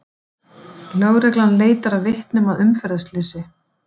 Lögreglan leitar að vitnum að umferðarslysi